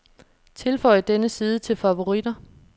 Tilføj denne side til favoritter.